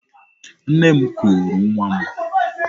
Nne m kuuru nwa m.